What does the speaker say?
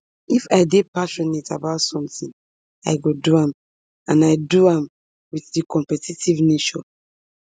if i dey passionate about sometin i go do am and i do am wit di competitive nature